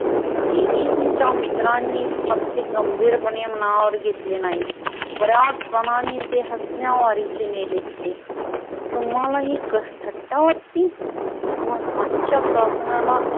एडिसनच्या मित्रांनी फारसे गंभीरपणे मनावर घेतले नाही. बऱ्याच जणांनी ते हसण्यावारीचे नेले तुम्हाला का ही थट्टा वाटते, पण हातच्या काकणाला